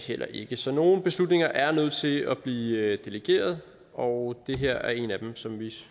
heller ikke så nogle beslutninger er nødt til at blive delegeret og det her er en af dem som vi